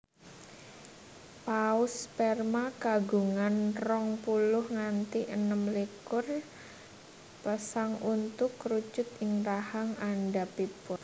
Paus Sperma kagungan rong puluh nganti enem likur pasang untu kerucut ing rahang andhapipun